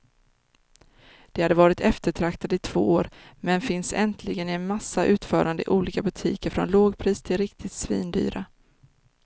De har varit eftertraktade i två år, men finns äntligen i en massa utföranden i olika butiker från lågpris till riktigt svindyra.